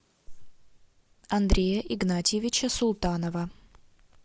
андрея игнатьевича султанова